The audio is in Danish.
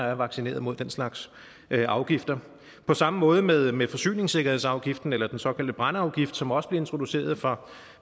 er vaccineret mod den slags afgifter på samme måde med med forsyningssikkerhedsafgiften eller den såkaldte brændeafgift som også blev introduceret for